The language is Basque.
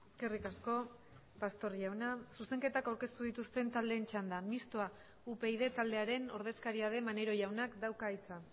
eskerrik asko pastor jauna zuzenketak aurkeztu dituzten taldeen txanda mistoa upyd taldearen ordezkaria den maneiro jaunak dauka hitza